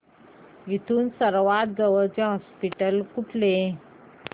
इथून सर्वांत जवळचे हॉस्पिटल कुठले